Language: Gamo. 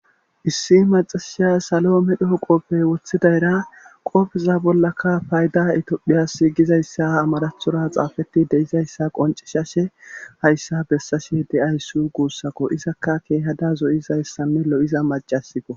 issi maxasiya salo medhoo qoofey woththidayra qopfeza bollaka fayda etophiyasi gizayssa amarathora xaafeti deizayssa qoncishashe hayssa bessashe de7ayssu guussako izakka keehada zoyizayssane lo7iza macasiko